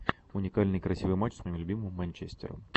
уникальный красивый матч с моим любимым манчестером